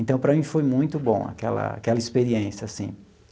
Então para mim foi muito bom aquela aquela experiência, assim.